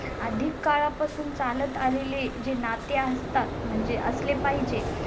अधिक काळापासून चालत आलेले जे नाते असतात. म्हणजे असले पाहिजे